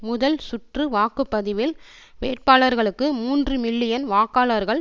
முதல் சுற்று வாக்கு பதிவில் வேட்பாளர்களுக்கு மூன்று மில்லியன் வாக்காளர்கள்